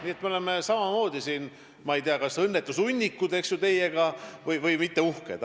Nii et me oleme teiega samamoodi, ma ei tea, kas õnnetusehunnikud või lihtsalt mitte uhked.